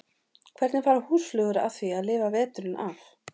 Hvernig fara húsflugur að því að lifa veturinn af?